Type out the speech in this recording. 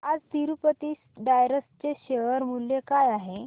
आज तिरूपती टायर्स चे शेअर मूल्य काय आहे